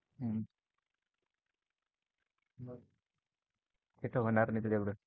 हम्म ते तर होणार नाही तुझ्या कडून.